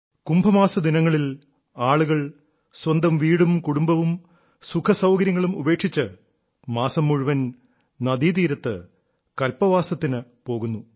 കുംഭമാസ ദിനങ്ങളിൽ ആളുകൾ സ്വന്തം വീടും കുടുംബവും സുഖസൌകര്യങ്ങളും ഉപേക്ഷിച്ച് മാസം മുഴുവൻ നദീതീരത്ത് കല്പവാസത്തിനും പോകുന്നു